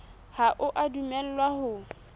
ha o a dumellwa ho